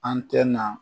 An tɛ na